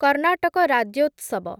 Karnataka Rajyotsava